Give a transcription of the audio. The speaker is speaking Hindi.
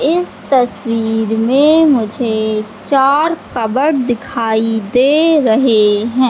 इस तस्वीर में मुझे चार कबर्ड दिखाई दे रहे हैं।